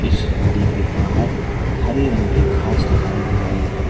इस नदी के बाहर हरे रंग की घास दिखाई दे रही है।